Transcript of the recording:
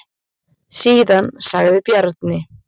Síðan sagði Bjarni: